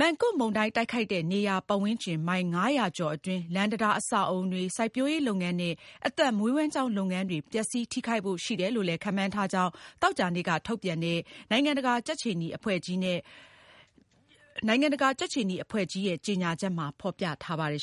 Mangkhut မုန်တိုင်းတိုက်ခတ်တဲ့ နေရာ ပတ်ဝန်းကျင် မိုင် ၅၀၀ ကျော်အတွင်း လမ်းတံတား၊ အဆောက်အဦးတွေ၊ စိုက်ပျိုးရေးလုပ်ငန်းနဲ့ အသက်မွေးဝမ်းကျောင်းလုပ်ငန်းတွေ ပျက်စီးထိခိုက်ဖို့ ရှိတယ်လို့ ခန့်မှန်းထားကြောင်း သောကြာနေ့ ကထုတ်ပြန်တဲ့ နိုင်ငံတကာကြက်ခြေနီအဖွဲ့ကြီးနဲ့ လခြမ်းနီ အဖွဲ့အစည်းတို့ရဲ့ကြေညာချက်မှာ ဖေါ်ပြထားပါတယ်